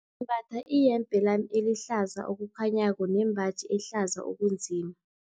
Ngimbatha iyembe lami elihlaza okukhanyako nembaji ehlaza okunzima.